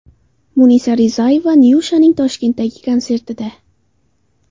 Munisa Rizayeva Nyushaning Toshkentdagi konsertida.